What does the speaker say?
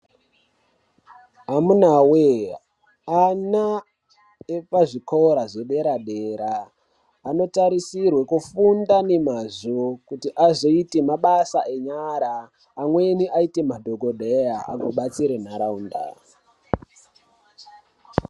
Amuna we ana epazvikora zvedera dera anotarisirwa kufunda nemazvo kuti azoite mabasa enyara Amweni aite madhokodheya anobatsira nharaunda.